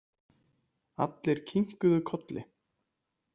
Allir kinkuðu kolli.